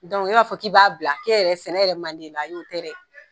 Dɔnku e b'a fɔ k'i b'a bila, e yɛrɛ sɛnɛ yɛrɛ man di i la, ayi, o tɛ dɛ.